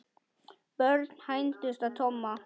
Börn hændust að Tomma.